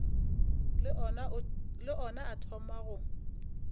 le ona a thoma go